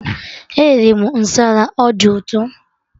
Eriri m masala, ọ dị ụtọ